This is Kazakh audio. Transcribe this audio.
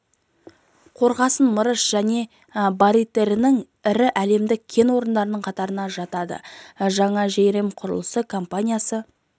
қорғасын мырыш және бариттің ірі әлемдік кен орындарының қатарына жатады жаңа жәйрем құрылысы компаниясы